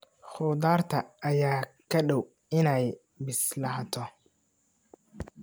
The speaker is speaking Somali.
Khudaarta ayaa ku dhow innay bislaato